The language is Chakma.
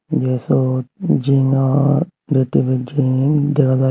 ei syot zingor dish tv zing dega jaai.